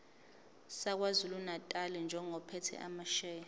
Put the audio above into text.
sakwazulunatali njengophethe amasheya